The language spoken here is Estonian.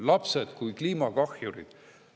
Lapsed kui kliimakahjurid.